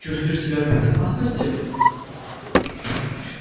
чувствуешь себя в безопасности